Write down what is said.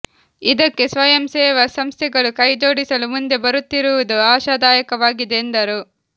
ಇದಕ್ಕೆ ಸ್ವಯಂ ಸೇವಾ ಸಂಸ್ಥೆಗಳು ಕೈಜೋಡಿಸಲು ಮುಂದೆ ಬರುತ್ತಿರುವುದು ಆಶಾದಾಯಕವಾಗಿದೆ ಎಂದರು